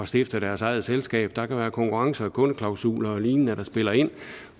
stifte deres eget selskab der kan være konkurrence og kundeklausuler og lignende der spiller ind